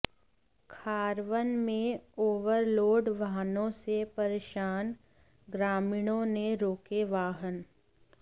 खारवन में ओवरलोड वाहनों से परेशान ग्रामीणों ने रोके वाहन